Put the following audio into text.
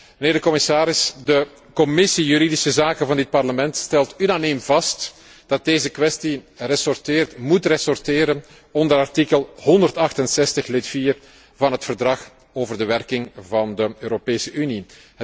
Mijnheer de commissaris, de Commissie juridische zaken van dit Parlement stelt unaniem vast dat deze kwestie moet ressorteren onder artikel 168, lid 4, van het Verdrag over de werking van de Europese Unie.